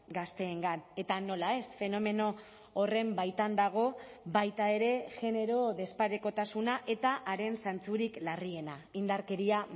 gazteengan eta nola ez fenomeno horren baitan dago baita ere genero desparekotasuna eta haren zantzurik larriena indarkeria